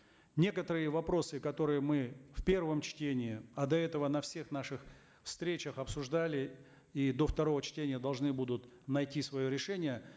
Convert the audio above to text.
некоторые вопросы которые мы в первом чтении а до этого на всех наших встречах обсуждали и до второго чтения должны будут найти свое решение